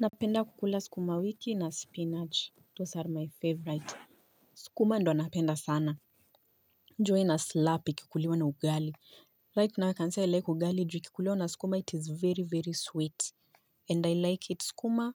Napenda kukula sukuma wiki na spinach those are my favorite. Sukuma ndo napenda sana juu ina slap ikikuliwa na ugali. Right now i can say i like ugali juu ikikuliwa na sukuma it is very very sweet and I like it sukuma.